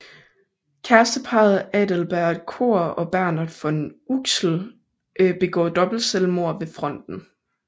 Kæresteparret Adalbert Cohr og Bernhard von Uxkull begår dobbeltselvmord ved fronten